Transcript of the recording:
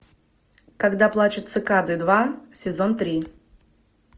когда плачут цикады два сезон три